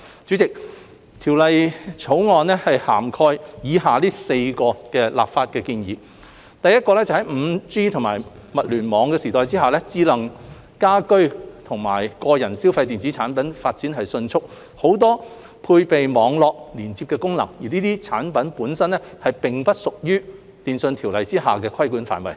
主席，《條例草案》涵蓋以下的4項立法建議：第一，在 5G 及物聯網時代下，智能家居及個人消費電子產品發展迅速，很多配備網絡連接功能，但這些產品本身並不屬於《電訊條例》下的規管範圍。